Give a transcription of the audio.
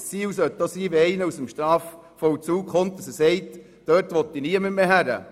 Ziel sollte es sein, dass sich einer sagt, er wolle nie mehr dorthin zurück, wenn er aus dem Strafvollzug kommt.